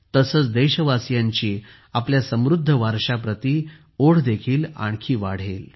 तसेच देशवासियांची आपल्या समृध्द वारशाप्रती ओढदेखील आणखी वाढेल